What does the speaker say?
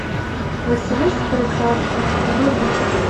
василиса прекрасная вруби